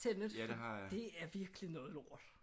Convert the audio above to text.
Tenet for det er virkelig noget lort